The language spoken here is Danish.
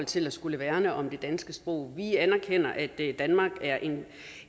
til at skulle værne om det danske sprog vi anerkender at danmark er et